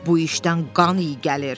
Bu işdən qan iyi gəlir.